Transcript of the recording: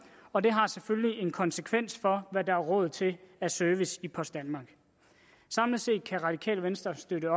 og det har selvfølgelig en konsekvens for hvad der er råd til af service i post danmark samlet set kan radikale venstre støtte